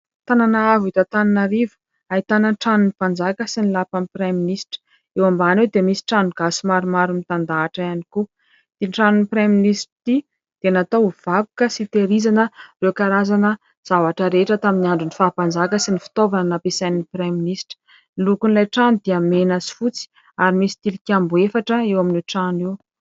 Tanana avo eto Antananarivo, ahitana ny tanon'ny Mpanjaka sy ny lapan'ny Praiminisitra. Eo ambany eo dia misy trano gasy maromaro mitandahatra ihany koa . Ity tranon'ny Praiminisitra ity dia natao ho vakoka sy fitahirizana ireo zavatra rehetra tamin'ny andron'ny faha-mpanjaka sy ny fitaovana nampiasain'ny Praiminisitra. Ny lokon'ilay trano dia mena sy fotsy ary misy tilikambo efatra eo amin'io trano io.